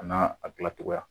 An'aa a dila togoya